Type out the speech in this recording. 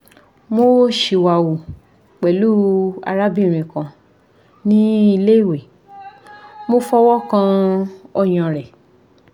mo siwawu pelu arabirin kan ni ile iwe mo fowokan oyan re